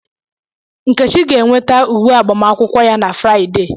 Nkechi ga-enweta uwe agbamakwụkwọ ya na Fraịde.